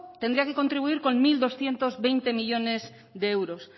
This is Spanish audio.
tendría que contribuir con mil doscientos veinte millónes de euros